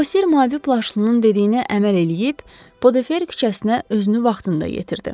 Bosir mavi plaşlının dediyinə əməl eləyib, Odefər küçəsinə özünü vaxtında yetirdi.